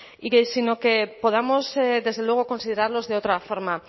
sino que podamos desde luego considerarlos de otra forma